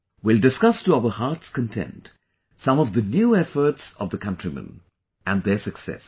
We will discuss to our heart's content, some of the new efforts of the countrymen and their success